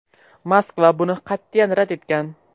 Moskva buni qat’iyan rad etgan.